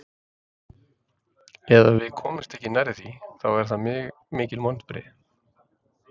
Ef að við komumst ekki nærri því, þá eru það mikil vonbrigði.